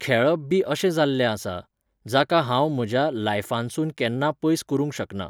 खेळप बी अशें जाल्लें आसा, जाका हांव म्हज्या लायफानसून केन्ना पयस करूंक शकना.